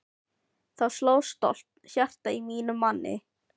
Þá sló stolt hjarta í mínum manni!